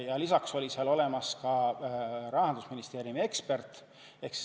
Ja lisaks oli seal ka Rahandusministeeriumi ekspert.